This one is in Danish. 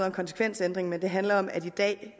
en konsekvensændring men det handler om at det